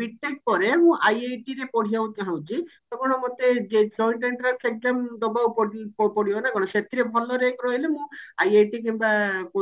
B.TECH ପରେ ମୁଁ IIT ରେ ପଢିବାକୁ ଚାହୁଁଛି ତ କଣ ମୋତେ ଯେ ଶହେ ଟା entrance exam ଦବାକୁ ପ ପଡିବ ନା କଣ ସେଥିରେ ଭଲ rank ରହିଲେ ମୁଁ IIT କିମ୍ବା